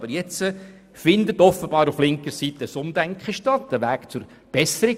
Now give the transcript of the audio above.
Aber jetzt findet offenbar auf linker Seite ein Umdenken statt, ein Weg zur Besserung.